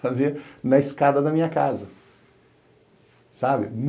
fazer na escada da minha casa, sabe?